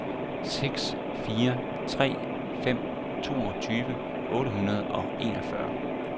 seks fire tre fem toogtyve otte hundrede og enogfyrre